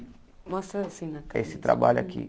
Mostra assim na. É esse trabalho aqui.